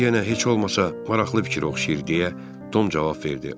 Bu yenə heç olmasa maraqlı fikrə oxşayır deyə Tom cavab verdi.